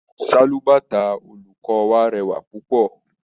Sálúbàtà olùkọ́ wa rẹwà púpọ̀.